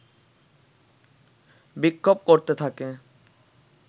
বিক্ষোভ করতে থাকে